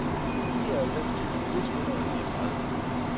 nioghalvfems tusind et hundrede og niogtredive